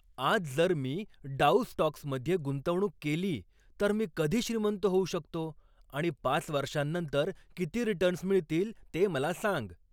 आज जर मी डाऊ स्टॉक्समध्ये गुंतवणूक केली तर मी कधी श्रीमंत होऊ शकतो आणि पाच वर्षांनंतर किती रिटर्न्स मिळतील ते मला सांग